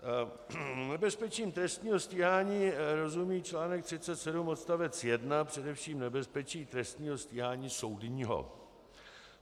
Nebezpečím trestního stíhání rozumí článek 37 odstavec 1 především nebezpečí trestního stíhání soudního.